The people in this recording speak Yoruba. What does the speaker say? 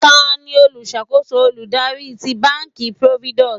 tani oluṣakoso oludari ti banki providus?